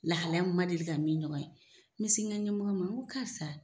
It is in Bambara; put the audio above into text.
Lahalaya min n ma deli ka min ɲɔgɔn ye n be se n ka ɲɛmɔgɔ ma n ko karisa